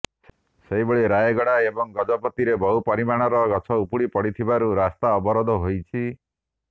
ସେହିଭଳି ରାୟଗଡା ଏବଂ ଗଜପତିରେ ବହୁ ପରିମାଣର ଗଛ ଉପୁଡିପଡିଥିବରୁ ରାସ୍ତା ଅବରୋଧ ହୋଇଛି